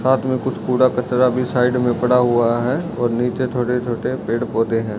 साथ में कुछ कूड़ा-कचरा भी साइड में पड़ा हुआ है और नीचे छोटे-छोटे पेड़-पौधे हैं।